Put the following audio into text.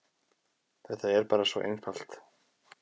Þetta er bara svo einfalt.